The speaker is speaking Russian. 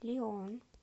лион